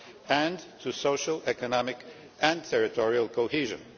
and to social, economic and territorial cohesion.